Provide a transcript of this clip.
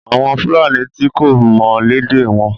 Àwọn Fúlàní ti kọ́ mi lédè wọn.